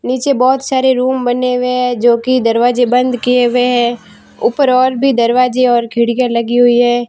नीचे बहोत सारे रूम बने हुए है जो कि दरवाजे बंद किए हुए है ऊपर और भी दरवाजे और खिड़कियां लगी हुई है।